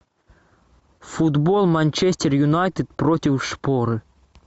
футбол манчестер юнайтед против шпоры